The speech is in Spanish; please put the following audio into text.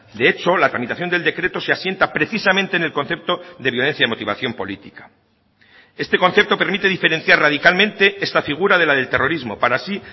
de hecho la tramitación del decreto se asienta precisamente en el concepto de violencia de motivación política este concepto permite diferenciar radicalmente esta figura de la del terrorismo para así